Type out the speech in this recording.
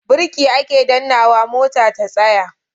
Birki ake dannnawa mota ta tsaya.